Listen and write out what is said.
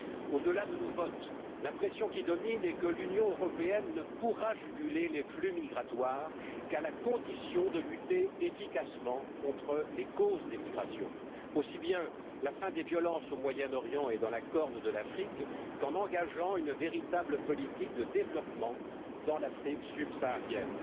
Au delà de nos votes, l'impression qui domine est que l'Union européenne ne pourra juguler les flux migratoires qu'à la condition de lutter efficacement contre les causes des migrations, aussi bien en mettant fin aux violences au Moyen Orient et dans la Corne de l'Afrique qu'en engageant une véritable politique de développement dans l'Afrique subsaharienne.